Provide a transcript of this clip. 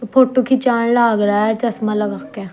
फोटू खींचाण लाग रया ह चश्मा लगा क।